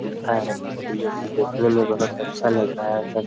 गुफा है जो की देखने में बहोत अच्छा लग रहा है